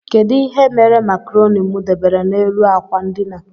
Kedụ ihe mere macroni mụ debere n' élú akwa ndina?